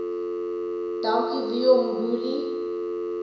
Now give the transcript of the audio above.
dankie vuyo mbuli